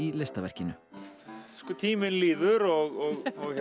listaverkinu tíminn líður og